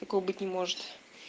такого быть не может